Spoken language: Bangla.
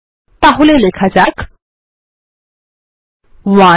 তাহলে লেখা যাক 1